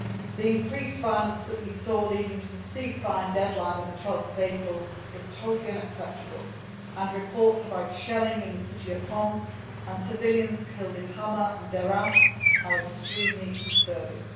The increased violence that we saw leading up to the ceasefire deadline of 12 April was totally unacceptable, and reports about shelling in the city of Homs and civilians killed in Hama and Deraa are extremely disturbing.